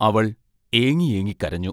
അവൾ ഏങ്ങിയേങ്ങി കരഞ്ഞു.